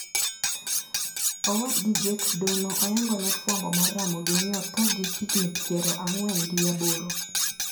Owadgi jakedono oyangone fwambo mar Ramogi ni othoo gi higni piero ang`wen gi aboro.